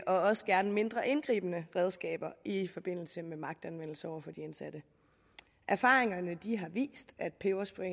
også gerne mindre indgribende redskaber i forbindelse med magtanvendelse over for de indsatte erfaringerne har vist at peberspray